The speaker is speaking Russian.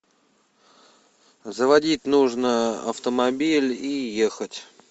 заводить нужно автомобиль и ехать